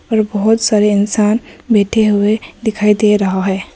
पर बहोत सारे इंसान बैठे हुए दिखाई दे रहा है।